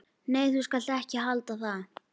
Nei, þú skalt ekki halda það!